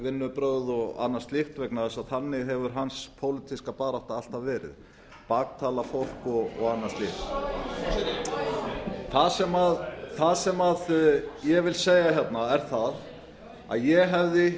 vinnubrögð og annað slíkt vegna þess að þannig hefur hans pólitíska barátta alltaf verið baktala fólk og annað slíkt það sem ég vil segja er að ég hefði